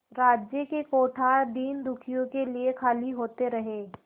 राज्य के कोठार दीनदुखियों के लिए खाली होते रहे